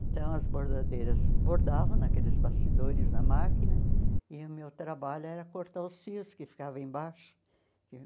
Então, as bordadeiras bordavam naqueles bastidores na máquina e o meu trabalho era cortar os fios que ficavam embaixo.